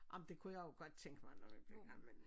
Ej men det kunne jeg jo godt tænke mig når jeg bliver gammel